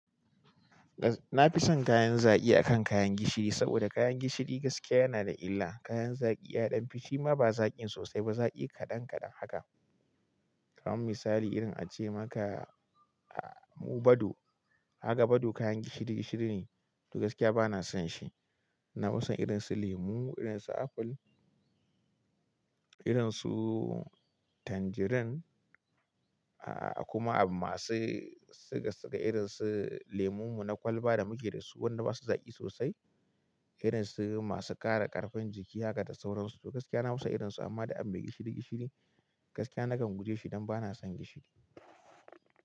Na fi son kayan zaƙi akan kayan gishiri saboda kayan gishiri gaskiya yana da illa. Kayan zaƙi, yaɗan fushi ma ba zaƙin sosai ba, zaƙi kaɗan kaɗan haka. Kayan misali irin ace maka, a, mu bado. Kaga bado kayan gishiri gishiri ne, to gaskiya ba na son shi. Na fi son irin su lemu, irin su apple, irin su tangerine. A, a kuma masu suka, suka irin su lemon mu na kwalba da muke da su wanda ba su zaƙi sosai. Irin su masu ƙara ƙarfin jiki haka da sauransu. To gaskiya na fi son irin su amma da abin mai gishiri gishiri, gaskiya nakan guje shi don ba na son gishiri.